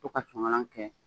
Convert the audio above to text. To ka sonkalan kɛ